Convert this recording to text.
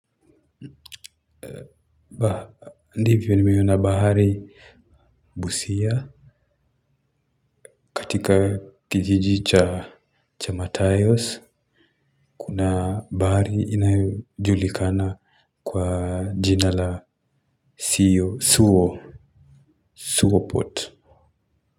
Ndivyo nimeona bahari busia katika kijiji cha cha matayos kuna bahari inayojulikana kwa jina la sio suo suo port.